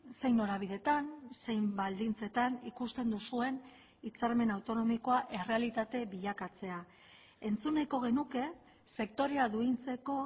zein norabideetan zein baldintzetan ikusten duzuen hitzarmen autonomikoa errealitate bilakatzea entzun nahiko genuke sektorea duintzeko